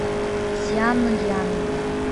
сянъян